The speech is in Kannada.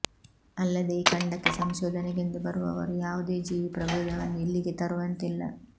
ಅಲ್ಲದೆ ಈ ಖಂಡಕ್ಕೆ ಸಂಶೋಧನೆಗೆಂದು ಬರುವವರು ಯಾವುದೇ ಜೀವಿ ಪ್ರಭೇದವನ್ನು ಇಲ್ಲಿಗೆ ತರುವಂತಿಲ್ಲ